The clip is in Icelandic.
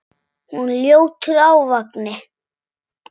Hún er ljótur ávani.